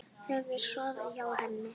Hefurðu sofið hjá henni?